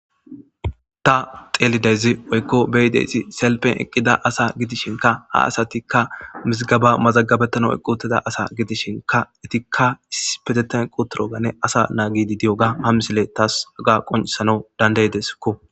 Ta xeelidayzi oykko beyideysi selpen eqqida asa gidishinka ha asatikka mizgaba mazagabettana eqqutida asa gidishinka etikka ispeteten quturoganne asa naa gidi diyoga hamsile taas aga qoncisana dandayedeskko.